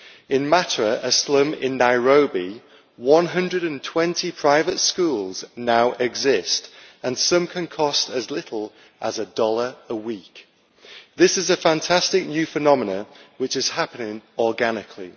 In Mathare, a slum in Nairobi, 120 private schools now exist and some can cost as little as a dollar a week. This is a fantastic new phenomenon, which is happening organically.